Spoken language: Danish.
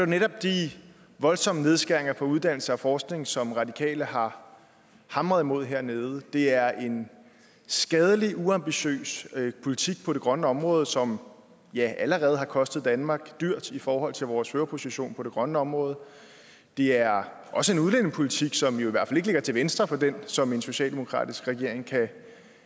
netop de voldsomme nedskæringer på uddannelse og forskning som de radikale har hamret mod hernede det er en skadelig uambitiøs politik på det grønne område som allerede har kostet danmark dyrt i forhold til vores førerposition på det grønne område det er også en udlændingepolitik som jo i hvert fald ikke ligger til venstre for den som en socialdemokratisk regering kan